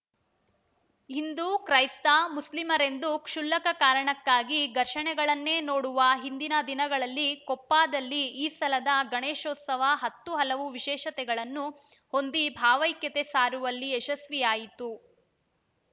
ಹಿಂದೂ ಕ್ರೈಸ್ತ ಮುಸ್ಲಿಮರೆಂದು ಕ್ಷುಲ್ಲಕ ಕಾರಣಕ್ಕಾಗಿ ಘರ್ಷಣೆಗಳನ್ನೇ ನೋಡುವ ಇಂದಿನ ದಿನಗಳಲ್ಲಿ ಕೊಪ್ಪದಲ್ಲಿ ಈ ಸಲದ ಗಣೇಶೋತ್ಸವ ಹತ್ತು ಹಲವು ವಿಶೇಷತೆಗಳನ್ನು ಹೊಂದಿ ಭಾವೈಕ್ಯತೆ ಸಾರುವಲ್ಲಿ ಯಶಸ್ವಿಯಾಯಿತು